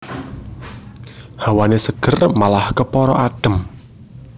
Hawané seger malah kepara adhem